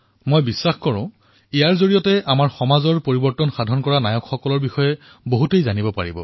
মোৰ বিশ্বাস যে ইয়াত অধিক সংখ্যক লোকে সমাজলৈ পৰিৱৰ্তন কঢ়িয়াই অনা লোকৰ বিষয়ে জানিবলৈ পাব